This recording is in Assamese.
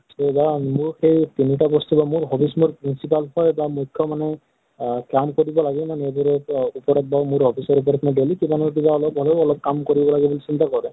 এই ধৰা মোৰ সেই তিনি টা বস্তু বা মোৰ hobbies মোৰ principle হয় বা মুখ্য মানে আহ কাম কৰিব লাগে নিজেৰে উপৰত মোৰ office ৰ উপৰত মই daily কিবা নহয় কিবা অলপ হলেও অলপ কাম কৰিব লাগে বুলি চিন্তা কৰো।